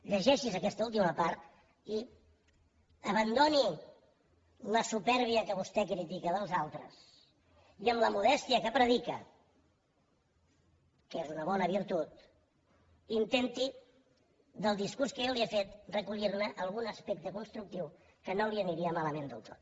llegeixi’s aquesta última part i abandoni la supèrbia que vostè critica dels altres i amb la modèstia que predica que és una bona virtut intenti del discurs que jo li he fet recollir algun aspecte constructiu que no li aniria malament del tot